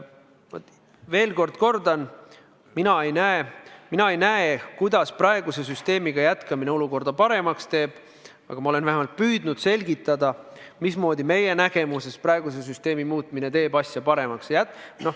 Ma veel kord kordan: mina ei näe, kuidas praeguse süsteemiga jätkamine olukorda paremaks võiks teha, aga ma olen vähemalt püüdnud selgitada, mismoodi meie nägemuse kohaselt süsteemi muutmine teeb asja paremaks.